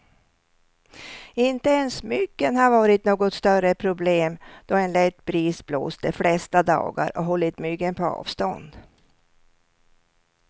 Inte ens myggen har varit något större problem, då en lätt bris blåst de flesta dagar och hållit myggen på avstånd.